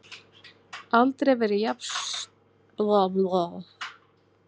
Aldrei verið jafn djúpt snortinn.